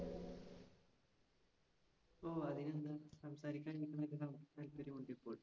ഓ അതിനെന്താ. സംസാരിക്കാൻ താല്പര്യം ഉണ്ടിപ്പോൾ.